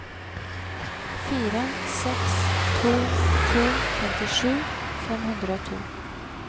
fire seks to to femtisju fem hundre og to